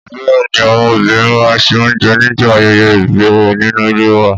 Bẹ́ẹ̀ni, àwọn obìnrin máa ń se oúnjẹ nígbà ayẹyẹ ìbẹ̀rẹ̀ nínú ilé wa.